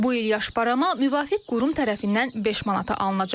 Bu il yaş barama müvafiq qurum tərəfindən 5 manata alınacaq.